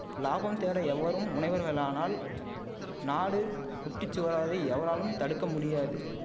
லாபம் தேட எவரும் முனைவர்களானால் நாடு குட்டிச் சுவராவதை எவராலும் தடுக்க முடியாது